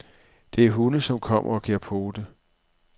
Der er hunde, som kommer og giver pote.